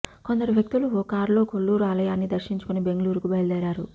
కొందరు వ్యక్తులు ఓ కారులో కొల్లూరు ఆలయాన్ని దర్శించుకుని బెంగళూరుకు బయలుదేరారు